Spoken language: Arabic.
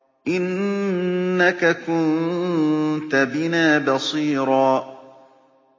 إِنَّكَ كُنتَ بِنَا بَصِيرًا